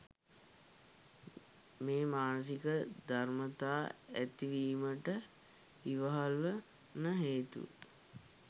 මේ මානසික ධර්මතා ඇතිවීමට ඉවහල්වන හේතු